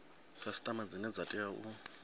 khasiṱama dzine dza tea u